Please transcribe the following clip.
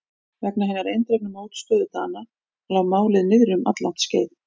Vegna hinnar eindregnu mótstöðu Dana lá málið niðri um alllangt skeið.